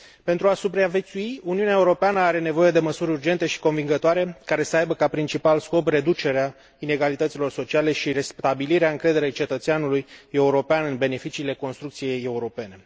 Pentru a supraviețui, Uniunea Europeană are nevoie de măsuri urgente și convingătoare, care să aibă ca principal scop reducerea inegalităților sociale și restabilirea încrederii cetățeanului european în beneficiile construcției europene.